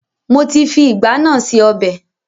Mo ti fi ìgbá náà se ọbẹ̀